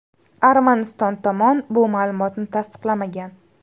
Armaniston tomon bu ma’lumotni tasdiqlamagan.